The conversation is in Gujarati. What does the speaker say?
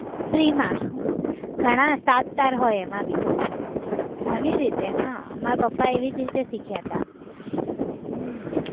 free માં ઘણા સાતતાર હોય એમાં બી ઘણી રીતે હા મારા પપ્પા એવી રીતે જ શીખ્યા હતા હમ